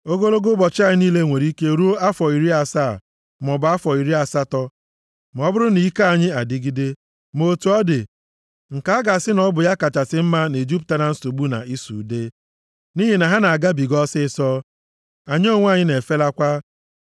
Ogologo ụbọchị anyị niile nwere ike ruo afọ iri asaa, maọbụ afọ iri asatọ, ma ọ bụrụ na ike anyị adịgide, ma otu ọ dị, nke a ga-asị na ọ bụ ya kachasị mma na-ejupụta na nsogbu na ịsụ ude, nʼihi na ha na-agabiga ọsịịsọ, anyị onwe anyị na-efelakwa.